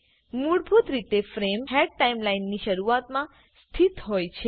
મૂળભૂત રીતેફ્રેમ head time લાઈનની શરુઆતમાં સ્થિત હોય છે